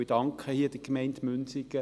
Ich danke hier der Gemeinde Münsingen.